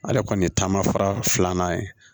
Ale kɔni ye taamafara filanan ye